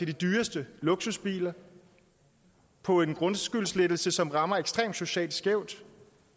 de dyreste luksusbiler på en grundskyldslettelse som rammer ekstremt socialt skævt